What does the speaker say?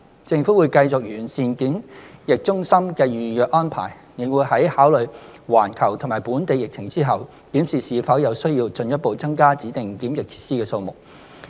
政府會繼續完善檢疫中心的預約安排，亦會在考慮環球及本地疫情後，檢視是否有需要進一步增加指定檢疫設施的數目。